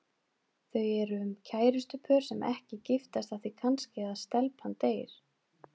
Þau eru um kærustupör sem ekki giftast af því kannski að stelpan deyr.